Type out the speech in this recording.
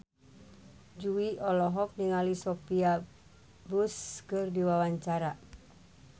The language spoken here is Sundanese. Jui olohok ningali Sophia Bush keur diwawancara